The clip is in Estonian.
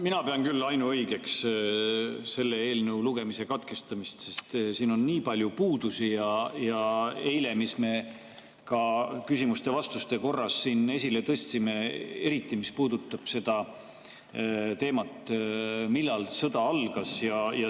Mina pean küll ainuõigeks selle eelnõu lugemise katkestamist, sest siin on nii palju puudusi, mis me eile ka küsimuste-vastuste korras siin esile tõstsime, eriti mis puudutab seda teemat, millal sõda algas.